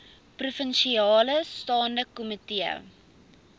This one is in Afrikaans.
provinsiale staande komitee